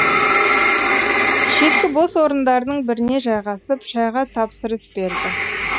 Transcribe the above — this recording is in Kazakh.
шеткі бос орындардың біріне жайғасып шайға тапсырыс берді